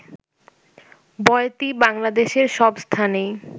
বয়াতি বাংলাদেশের সব স্থানেই